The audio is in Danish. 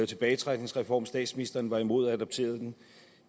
tilbagetrækningsreform statsministeren var imod og adopterede den